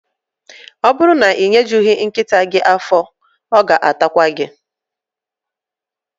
Ọ bụrụ na ị nyejughi nkịta gị afọ, ọ ga-atakwa gị